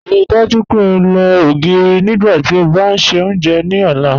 Ríí dájú pé ó lọ ogirí nígbàtí ó bá n ṣẹ ọ́njẹ̀ ni ọ̀lá.